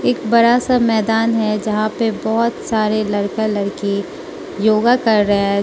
एक बड़ा सा मैदान है जहां पे बहोत सारे लड़का लड़की योगा कर रहा है।